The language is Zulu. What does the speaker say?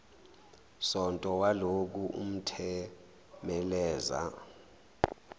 sonto walokhu uthemeleza